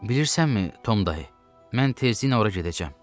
Bilirsənmi Tom dayı, mən tezliklə ora gedəcəm.